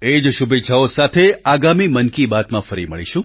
એ જ શુભેચ્છાઓ સાથે આગામી મન કી બાતમાં ફરી મળીશું